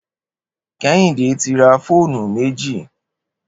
Kehinde ti rà fónú méji